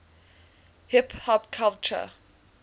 hip hop culture